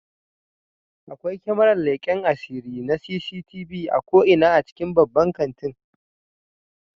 Akwai kyamarar leken asiri na CCTV a ko'ina cikin babban kanti